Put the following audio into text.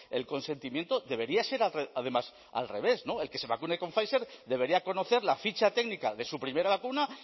el consentimiento debería ser además al revés el que se vacune con pfizer debería conocer la ficha técnica de su primera vacuna